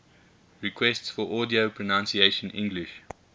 requests for audio pronunciation english